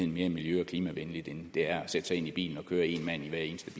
mere miljø og klimavenligt end det er at sætte sig ind i bilen og køre én mand i hver eneste